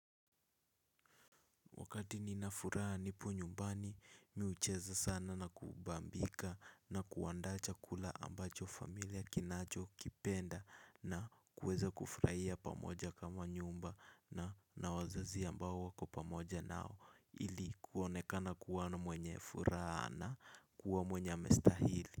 Wakati ninafuraha nipo nyumbani mi hucheza sana na kubambika na kuandaa chakula ambacho familia kinacho kipenda na kuweza kufurahia pamoja kama nyumba na na wazazi ambao wako pamoja nao ili kuonekana kuwa na mwenye furaha na kuwa mwenye amestahili.